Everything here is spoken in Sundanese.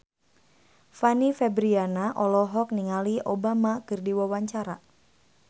Fanny Fabriana olohok ningali Obama keur diwawancara